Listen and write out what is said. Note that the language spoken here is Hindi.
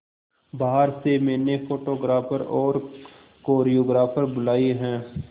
बाहर से मैंने फोटोग्राफर और कोरियोग्राफर बुलाये है